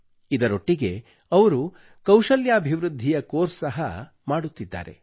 ಇದರೊಟ್ಟಿಗೆ ಅವರು ಕೌಶಲ್ಯಾಭಿವೃದ್ಧಿಯ ಕೋರ್ಸ್ ಸಹ ಮಾಡುತ್ತಿದ್ದಾರೆ